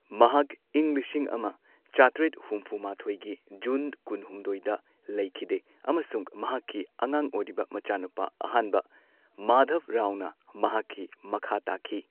ꯃꯍꯥꯛ ꯏꯪ ꯂꯤꯁꯤꯡ ꯑꯃ ꯆꯥꯇ꯭ꯔꯦꯠ ꯍꯨꯝꯐꯨꯃꯥꯊꯣꯏꯒꯤ ꯖꯨꯟ ꯀꯨꯟꯍꯨꯝꯗꯣꯏꯗ ꯂꯩꯈꯤꯗꯦ ꯑꯃꯁꯨꯡ ꯃꯍꯥꯛꯀꯤ ꯑꯉꯥꯡ ꯑꯣꯏꯔꯤꯕ ꯃꯆꯥꯅꯨꯄꯥ ꯑꯍꯥꯟꯕ ꯃꯥꯙꯕ ꯔꯥꯎꯅ ꯃꯍꯥꯛꯀꯤ ꯃꯈꯥ ꯇꯥꯈꯤ꯫